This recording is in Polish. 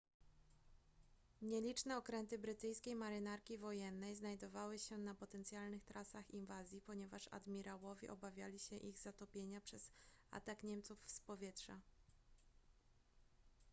nieliczne okręty brytyjskiej marynarki wojennej znajdowały się na potencjalnych trasach inwazji ponieważ admirałowie obawiali się ich zatopienia przez atak niemców z powietrza